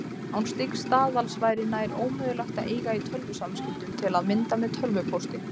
Án slíks staðals væri nær ómögulegt að eiga í tölvusamskiptum, til að mynda með tölvupósti.